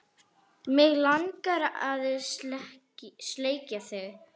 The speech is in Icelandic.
Mig langar að sleikja þig.